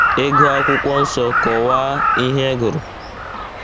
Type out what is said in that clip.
Ị gụọ Akwụkwọ Nsọ, kọwaa ihe ị gụrụ.